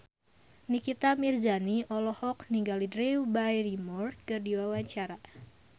Nikita Mirzani olohok ningali Drew Barrymore keur diwawancara